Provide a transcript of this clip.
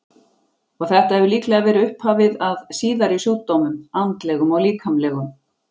Og þetta hefur líklega verið upphafið að síðari sjúkdómum, andlegum og líkamlegum.